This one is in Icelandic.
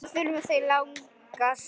Hvað þurfa þau langa suðu?